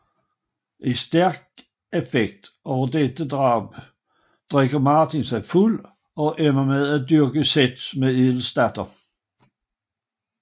I stærk affekt over dette drab drikker Martin sig fuld og ender med at dyrke sex med Edels datter